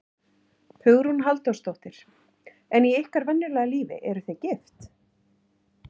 Hugrún Halldórsdóttir: En í ykkar venjulega lífi, eruð þið gift?